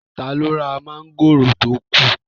Taló ra mọ́ngòrò tó kù?